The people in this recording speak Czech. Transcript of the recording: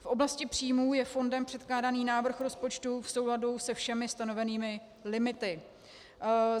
V oblasti příjmů je fondem předkládaný návrh rozpočtu v souladu se všemi stanovenými limity.